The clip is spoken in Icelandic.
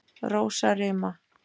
Rósarima